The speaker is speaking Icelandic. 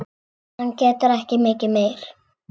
Hann getur ekki mikið meir.